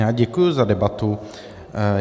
Já děkuji za debatu.